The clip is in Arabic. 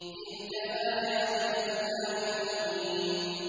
تِلْكَ آيَاتُ الْكِتَابِ الْمُبِينِ